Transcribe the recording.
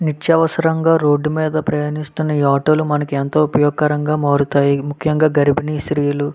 నిత్య అవసరము గ ఒప్గిస్తున రోడ్ మిద ప్రయస్తున నిత్య అవసరము గ ఉపయోగిస్తారు. అంప్రేగేంట్ వాలకి అకువ గ--